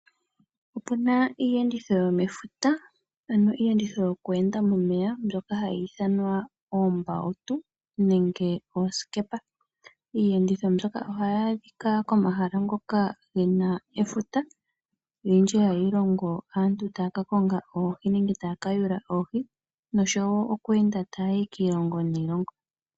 Opu na iiyenditho yomefuta . Ano iiyenditho yokuenda momeya mbyoka hayi ithanwa oombautu nenge oosikepa. Iiyenditho mbyoka ohayi adhika komahala ngoka ge na efuta . Olundji ohayi londo aantu taya ka kwata oohi nosho woo okuenda taya yi kiilongo niilonga.